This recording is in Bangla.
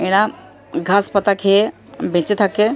এরা ঘাস পাতা খেয়ে বেঁচে থাকে।